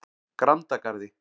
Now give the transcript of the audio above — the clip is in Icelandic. Grandagarði